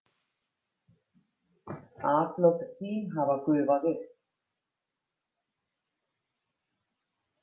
Atlot þín hafa gufað upp.